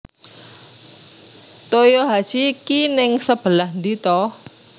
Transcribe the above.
Toyohashi ki ning sebelah ndi to?